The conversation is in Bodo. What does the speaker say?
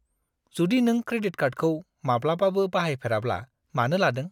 जुदि नों क्रेडिट कार्डखौ माब्लाबाबो बाहायफेराब्ला मानो लादों?